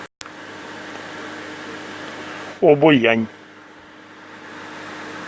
обоянь